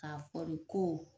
K'a fɔ de ko